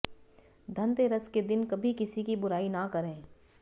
धनतेरस के दिन कभी किसी की बुराई ना करें